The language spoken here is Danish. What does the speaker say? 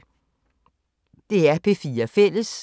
DR P4 Fælles